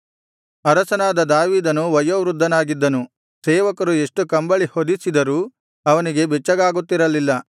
ಅರಸನಾದ ದಾವೀದನು ವಯೋವೃದ್ಧನಾಗಿದ್ದನು ಸೇವಕರು ಎಷ್ಟು ಕಂಬಳಿ ಹೊದಿಸಿದರೂ ಅವನಿಗೆ ಬೆಚ್ಚಗಾಗುತ್ತಿರಲಿಲ್ಲ